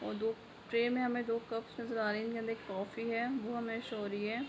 और दो ट्रे मे हमे दो कप नजर आ रहे है एक कॉफी है वो हमे शो हो रहे हैं।